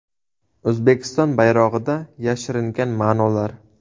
O‘zbekiston bayrog‘ida yashiringan ma’nolar.